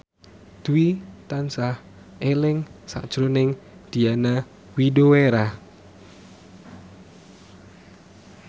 Dwi tansah eling sakjroning Diana Widoera